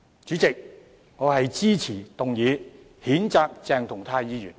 主席，我支持譴責鄭松泰議員的議案。